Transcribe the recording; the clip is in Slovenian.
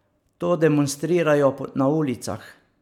To demonstrirajo na ulicah ...